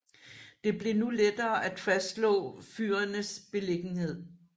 Det blev nu lettere at fastslå fyrenes beliggenhed